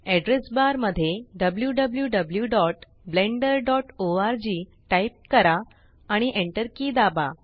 address bar मध्ये wwwblenderorg type करा आणि Enter के दाबा